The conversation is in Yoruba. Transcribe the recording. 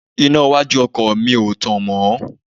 Iná iwájú ọkọ̀ mi ò tàn mọ́